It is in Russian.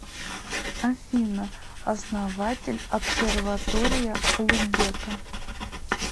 афина основатель обсерватория улугбека